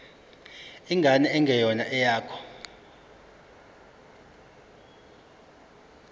ingane engeyona eyakho